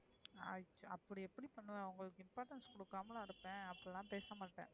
அப்டி எப்டி பண்ணுவேன் உங்களுக்கு importance குடுகமல இருப்பேன் அப்டி லாம் பேச மாட்டேன்,